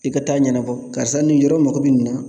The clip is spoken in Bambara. I ka taa ɲɛnabɔ karisa nin yɔrɔ mago bɛ nin na